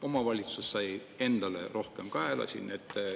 Omavalitsus sai endale rohkem kaela.